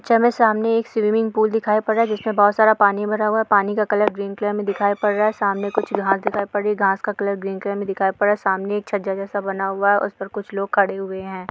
चलो सामने एक स्विमिंग पूल दिखाई पड़ रहा है जिसमें बहुत सारा पानी भरा हुआ है पानी का कलर ग्रीन कलर में दिखाई पड़ रहा है सामने कुछ घास दिखाई पड़ रही है घास का कलर ग्रीन कलर में दिखाई पड़ रहा है सामने एक छज्जा जैसा बना हुआ है उस पर कुछ लोग खड़े हुए है।